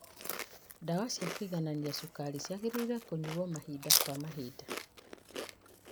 Ndawa cia kũiganania cukari ciagĩrĩirwo nĩ kũnyuo mahinda kwa mahinda